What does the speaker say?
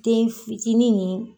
Den fitiinin nin.